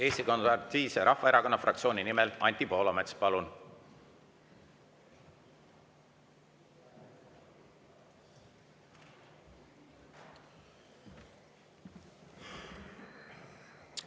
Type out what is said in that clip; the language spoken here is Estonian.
Eesti Konservatiivse Rahvaerakonna fraktsiooni nimel Anti Poolamets, palun!